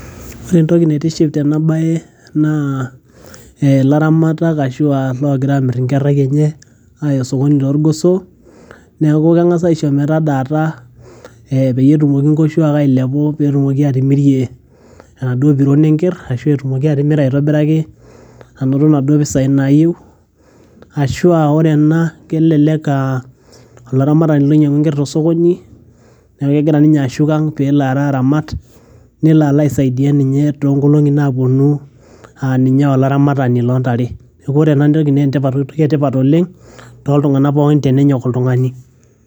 ore entoki naitiship tena baye naa eh ilaramatak ashua logira amirr inkerrai enye aya osokoni torgoso neeku keng'as aisho metadaata eh peyie etumoki nkoshuak ailepu petumoki atimirie enaduo piron enkerr ashu etumoki atimira aitobiraki anoto inaduo pisai nayieu ashua ore ena kelelek aa olaramatani loinying'ua enkerr tosokoni neeku kegira ninye ashuk ang pelo alo aramat nelo alo aisaidia ninye tonkolong'i naponu aninye olaramatani lontare neeku ore enatoki naa entipat etoki etipat oleng toltung'anak pookin tenenyok oltung'ani.